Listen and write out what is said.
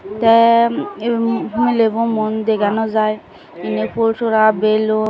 tey yen milebo muon dega naw jaai indi full sora belum .